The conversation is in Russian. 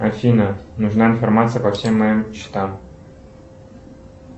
афина нужна информация по всем моим счетам